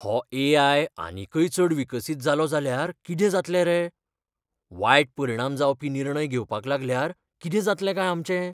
हो ए.आय. आनीकय चड विकसीत जालो जाल्यार कितें जातलें रे? वायट परिणाम जावपी निर्णय घेवपाक लागल्यार कितें जातलें काय आमचें?